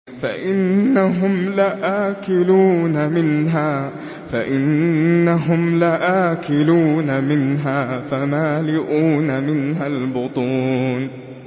فَإِنَّهُمْ لَآكِلُونَ مِنْهَا فَمَالِئُونَ مِنْهَا الْبُطُونَ